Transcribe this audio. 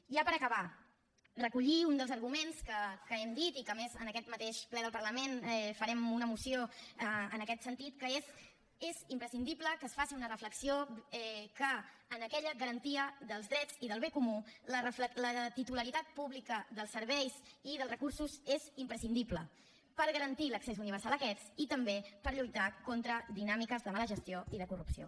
i ja per acabar recollir un dels arguments que hem dit i que a més en aquest mateix ple del parlament farem una moció en aquest sentit que és és imprescindible que es faci una reflexió que en aquella garantia dels drets i del bé comú la titularitat pública dels serveis i dels recursos és imprescindible per garantir l’accés universal a aquests i també per lluitar contra dinàmiques de mala gestió i de corrupció